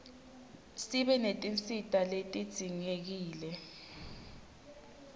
sibe netinsita letidzingekile